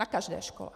Na každé škole!